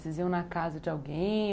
Vocês iam na casa de alguém?